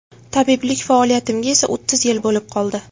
Tabiblik faoliyatimga esa o‘ttiz yil bo‘lib qoldi.